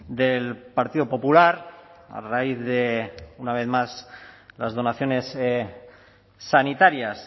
del partido popular a raíz de una vez más las donaciones sanitarias